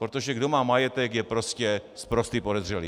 Protože kdo má majetek, je prostě sprostý podezřelý.